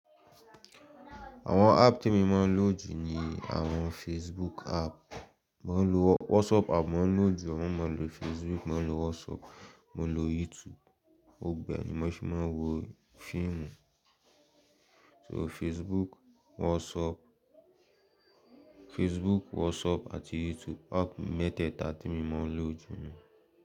Àwọn app tí emo máa ń lò jù ni àwọn Facebook app. Mo ń lò WhatsApp app, mo ń lò jù, mo máa ń lò Facebook, mo ń lò WhatsApp, mo ń lò YouTube. Gbogbo ẹ̀ ni mo sì máa ń wo fíìmù. So Facebook, WhatsApp, Facebook, WhatsApp àti YouTube. App mẹ́tẹ̀ẹ̀ta tí èmi mo ń lò jù ní.